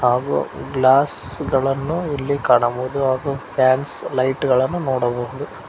ಹಾಗು ಗ್ಲಾಸ್ ಗಳನ್ನು ಇಲ್ಲಿ ಕಾಣಬಹುದು ಹಾಗು ಫ್ಯಾನ್ಸ್ ಲೈಟ್ ಗಳನ್ನು ನೋಡಬಹುದು.